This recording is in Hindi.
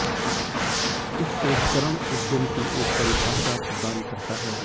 इस संस्करण उद्यम की एक परिभाषा प्रदान करता है